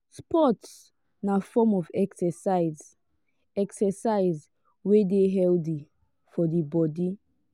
sports na form of exercise exercise wey de healthy for di body